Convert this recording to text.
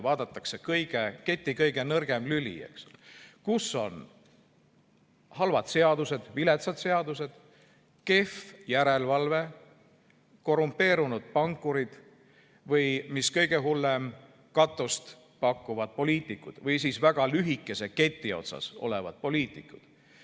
Valitakse välja keti kõige nõrgem lüli, kus on halvad seadused, viletsad seadused, kehv järelevalve, korrumpeerunud pankurid või, mis kõige hullem, katust pakkuvad poliitikud või väga lühikese keti otsas olevad poliitikud.